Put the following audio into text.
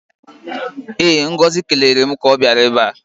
Ee, Ngozi kelere m ka ọ bịara ebe a.